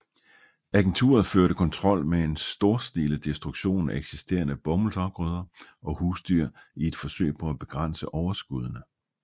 Agenturet førte kontrol med en storstilet destruktion af eksisterende bomuldsafgrøder og husdyr i et forsøg på at begrænse overskuddene